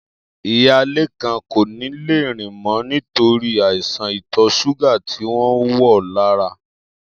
Iya Lékan kò ní lè rìn mó̩ nítorí àìsàn ìtò̩ s̩úgà ti wò̩ wó̩n lára